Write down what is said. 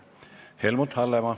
Helmut Hallemaa.